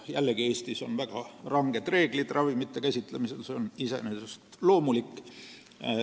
Jällegi, Eestis kehtivad ravimite käsitsemisel väga ranged reeglid ja see on iseenesest loomulik.